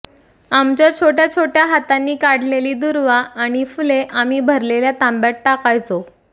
आमच्या छोट्या छोट्या हातांनी काढलेली दुर्वा आणि फुले आम्ही भरलेल्या तांब्यात टाकायचो